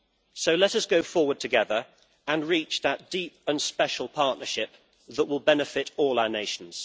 So let us go forward together and reach that deep and special partnership that will benefit all our nations.